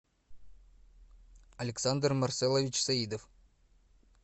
александр марселович саидов